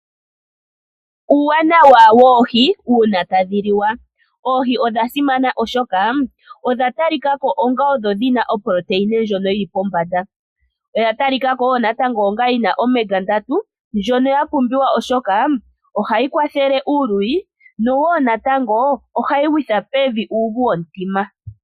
Uuwanawa woohi uuna tadhi liwa Oohi odha simana oshoka odha talikako onga odho dhina oprotein ndjono yili pombanda, oya talikako woo natango onga yina omega 3 ndjono ya pumbiwa oshoka ohayi kwathele uuluyi nowoo natango ohayi gwitha pevi uuvu womtima.